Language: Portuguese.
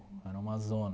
Era uma zona.